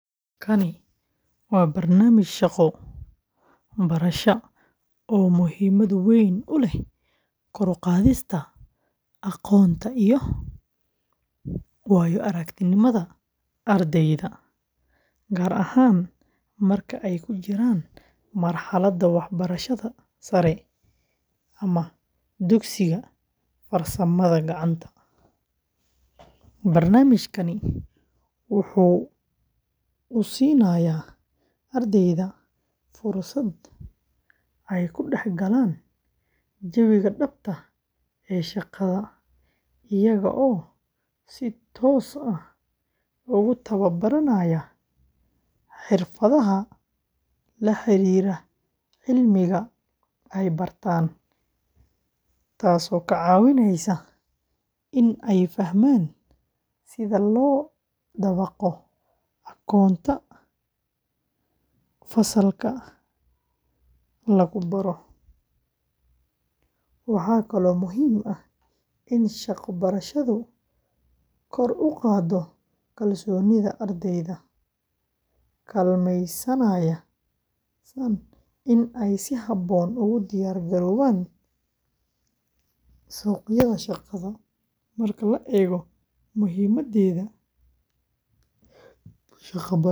Kani waa barnaamij shaqo-barasho oo muhiimad weyn u leh kor u qaadista aqoonta iyo waayo-aragnimada ardayda, gaar ahaan marka ay ku jiraan marxaladda waxbarashada sare ama dugsiyada farsamada gacanta. Barnaamijkani waxa uu siinayaa ardayda fursad ay ku dhex galaan jawiga dhabta ah ee shaqada, iyaga oo si toos ah ugu tababaranaya xirfadaha la xiriira cilmiga ay bartaan, taas oo ka caawinaysa in ay fahmaan sida loo dabaqo aqoonta fasalka lagu barto. Waxaa kaloo muhiim ah in shaqo-barashadu kor u qaaddo kalsoonida ardayda, kaalmaysaana in ay si habboon ugu diyaar garoobaan suuqyada shaqada. Marka la eego muhiimaddeeda.